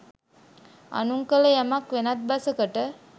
අනුන් කළ යමක් වෙනත් බසකට